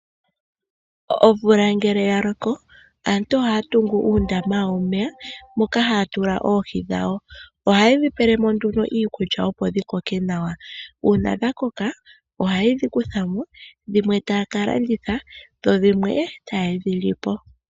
Omvula ngele ya loko aantu ohaya tungu uundama womeya moka haya tula oohi dhawo. Ohaye dhi pele mo iikulya opo dhi koke nawa, uuna dha koka ohaye dhi kutha mo, dhimwe taya ka landitha dho dhimwe taye dhi li po.